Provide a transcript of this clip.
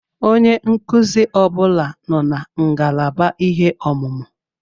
Onye nkụzi ọbụla nọ na ngalaba ihe ọmụmụ.